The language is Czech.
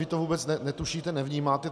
Vy to vůbec netušíte, nevnímáte.